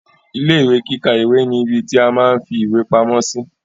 Ilé ìwé kíkà ìwé ni ìbí ti a máa n fí ìwé pamọ́ sí.